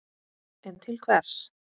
En til hvers?